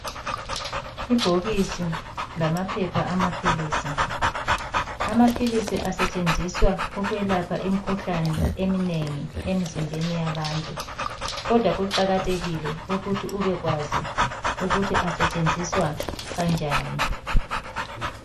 Ibhokisi lamaphepha amaphilisi. Amaphilisi asetshenziswa ukwelapha imikhuhlane eminengi emizimbeni yabantu. Kodwa kuqakathekile ukuthi ubekwazi ukuthi asetshenziswa kanjani.